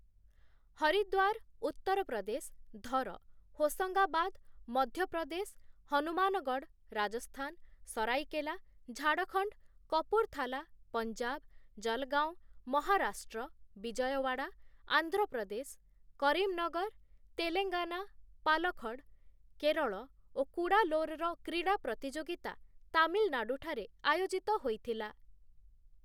ହରିଦ୍ୱାର, ଉତ୍ତରପ୍ରଦେଶ, ଧର, ହୋସଙ୍ଗାବାଦ, ମଧ୍ୟ ପ୍ରଦେଶ, ହନୁମାନଗଡ଼, ରାଜସ୍ଥାନ, ସରାଇକେଲା, ଝାଡ଼ଖଣ୍ଡ, କପୁରଥାଲା, ପଞ୍ଜାବ, ଜଲଗାଓଁ, ମହାରାଷ୍ଟ୍ର, ବିଜୟୱାଡ଼ା, ଆନ୍ଧ୍ର ପ୍ରଦେଶ, କରିମନଗର, ତେଲେଙ୍ଗାନା, ପାଲଖଡ଼, କେରଳ ଓ କୁଡାଲୋରର କ୍ରୀଡ଼ା ପ୍ରତିଯୋଗିତା ତାମିଲନାଡୁ ଠାରେ ଆୟୋଜିତ ହୋଇଥିଲା ।